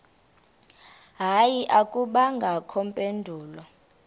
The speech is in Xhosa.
hayi akubangakho mpendulo